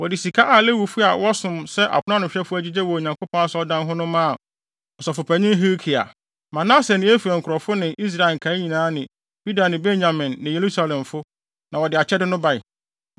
Wɔde sika a Lewifo a wɔsom sɛ aponanohwɛfo agyigyee wɔ Onyankopɔn Asɔredan ho no maa ɔsɔfopanyin Hilkia. Manase ne Efraim nkurɔfo ne Israel nkae nyinaa ne Yuda ne Benyamin ne Yerusalemfo na wɔde akyɛde no bae.